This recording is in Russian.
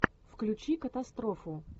включи катастрофу